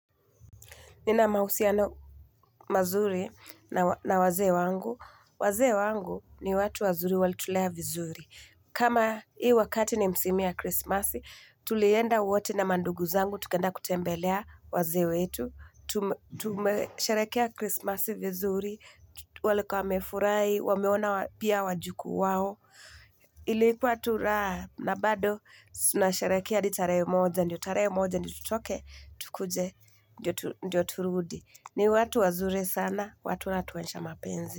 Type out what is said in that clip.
Nina mahusiano mazuri na wazee wangu. Wazee wangu ni watu wazuri walitulea vizuri. Kama hii wakati ni msimu ya Christmas, tulienda wote na mandugu zangu tukaenda kutembelea wazee wetu. Tumesherehekea Christmas vizuri. Walikuwa wamefurahi, wameona pia wajukuu wao. Iliikua tu raha na bado tunasherehekea hadi tarehe moja. Ndiyo tarehe moja tutoke, tukuje, ndiyo turudi ni watu wazuri sana watu wanatuonyesha mapenzi.